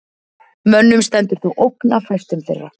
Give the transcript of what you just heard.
Mönnum stendur þó ógn af fæstum þeirra.